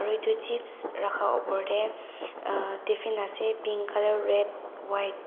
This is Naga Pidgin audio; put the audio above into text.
aru edu chips rakha opor tae ahh tiffin ase pink colour red white .